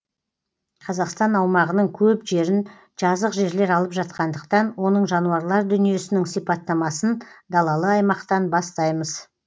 қазақстан аумағының көп жерін жазық жерлер алып жатқандықтан оның жануарлар дүниесінің сипаттамасын далалық аймақтан бастаймыз